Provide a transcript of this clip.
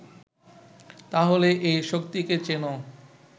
তাহলে এই শক্তিকে চেনো